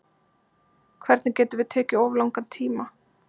Hvernig getum við tekið of langan tíma?